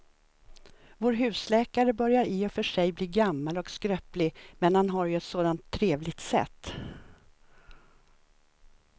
Vår husläkare börjar i och för sig bli gammal och skröplig, men han har ju ett sådant trevligt sätt!